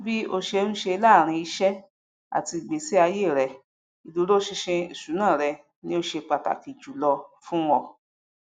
bí óṣe ń ṣe láàárín iṣẹ àti ìgbésíayé rẹ ìdúróṣinṣin ìṣúná rẹ ni ó ṣe pàtàkì jù lọ fún un